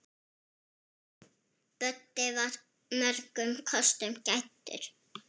Böddi var mörgum kostum gæddur.